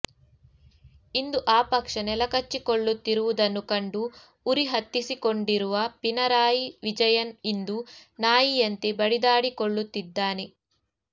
ಇಂದು ಆ ಪಕ್ಷ ನೆಲಕಚ್ಚಿಕೊಳ್ಳುತ್ತಿರುವುದನ್ನು ಕಂಡು ಉರಿ ಹತ್ತಿಸಿಕೊಂಡಿರುವ ಪಿನರಾಯಿ ವಿಜಯನ್ ಇಂದು ನಾಯಿಯಂತೆ ಬಡಿದಾಡಿಕೊಳ್ಳುತ್ತಿದ್ದಾನೆ